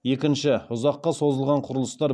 екінші ұзаққа созылған құрылыстар